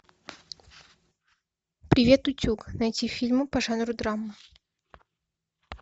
привет утюг найти фильмы по жанру драма